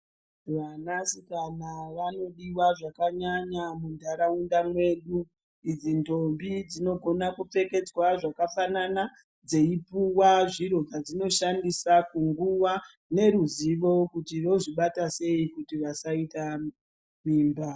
Vana sikana vanodiwa zvakanyanya munharaunda mwedu idzi ndombi dzinogona kuofekedzwa zvakafanana dzeipuwa zviro zvazvimoshandisa mundaraunda medu idzi ndombi dzinogona kupfekedzwa zvakafanan veipuwa zviro zvavakoshandisa neruzivo kuti vasakwanisa kuita mimba.